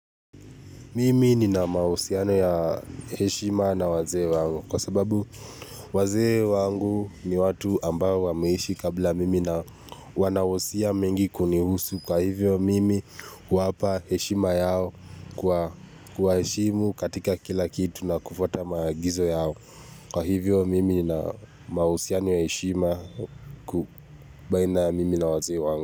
Mimi nina mahusiano ya heshima na wazee wangu kwa sababu wazee wangu ni watu ambao wameishi kabla mimi na wanawosia mingi kunihusu kwa hivyo mimi huwapa heshima yao kwa kuwaheshimu katika kila kitu na kufwata maagizo yao. Kwa hivyo mimi na mahusiano ya heshima baina ya mimi na wazee wangu.